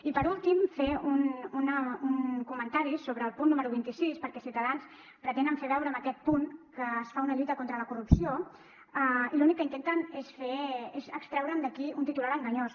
i per últim fer un comentari sobre el punt número vint sis perquè ciutadans pretenen fer veure amb aquest punt que es fa una lluita contra la corrupció i l’únic que intenten és extreure d’aquí un titular enganyós